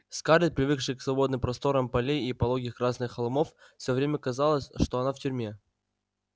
скарлетт привыкшей к свободным просторам полей и пологих красных холмов всё время казалось что она в тюрьме